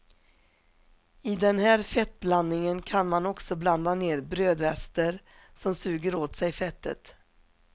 I den här fettblandingen kan man också blanda ner brödrester som suger åt sig fettet.